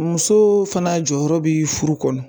Muso fana jɔyɔrɔ bɛ furu kɔnɔ